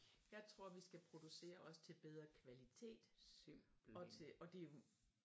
Jeg tror vi skal producere os til bedre kvalitet og til og det